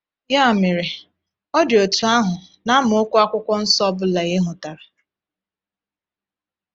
Ya mere, ọ dị otú ahụ na amaokwu Akwụkwọ Nsọ ọ bụla e hotara.